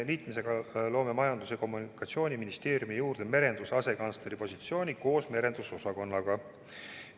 Liitmisega loome Majandus- ja Kommunikatsiooniministeeriumi juurde merenduse asekantsleri koha koos merendusosakonnaga.